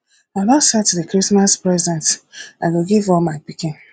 i don set the christmas presents i go give all my pikin